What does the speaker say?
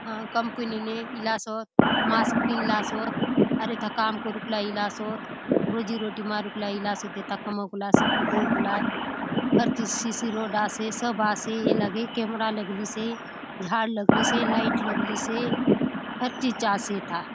कहाँ कंपनी ने इलासोत मास्क पिंधलासोत आउर एथा काम करुकलाय इलासोत रोजी रोटी मारूक लाय इलासोत एथा कमाऊक लाय सबके देउक लाय हर चीज सी_सी रोड आसे सब आसे ए लगे कैमरा लगलिसे झाड़ लगलिसे लाइट लगलिसे हर चीज आसे एथा--